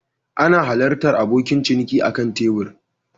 Ana halartar abokin ciniki akan kan tebur